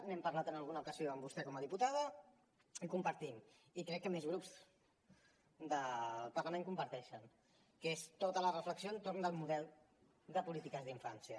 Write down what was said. n’hem parlat en alguna ocasió amb vostè com a diputada i que compartim i crec que més grups del parlament la comparteixen que és tota la reflexió entorn del model de polítiques d’infància